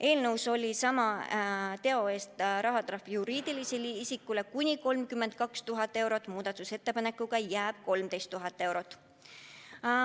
Eelnõus oli sama teo eest rahatrahv juriidilisele isikule kuni 32 000 eurot, muudatusettepanekuga jääb 13 000 eurot.